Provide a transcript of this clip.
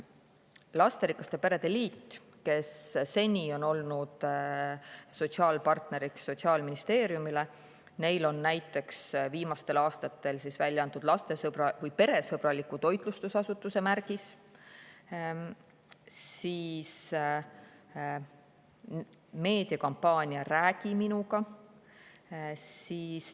Lasterikaste perede liit, kes seni on olnud Sotsiaalministeeriumi sotsiaalpartner, on viimaste aastate jooksul näiteks välja andnud peresõbraliku toitlustusasutuse märgise ja teinud meediakampaania "Räägi minuga".